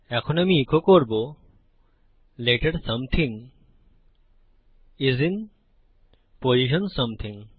এখন আমি ইকো করবো letter something is in position something